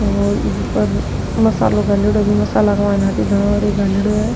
और इक ऊपर मसालो घाल्योड़ो बी मसाला के माय हरी धाना र घाल्योड़ो है।